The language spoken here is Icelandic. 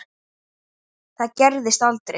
Það gerðist aldrei.